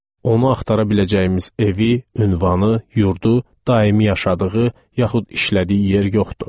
Onu axtara biləcəyimiz evi, ünvanı, yurdu, daimi yaşadığı yaxud işlədiyi yer yoxdur.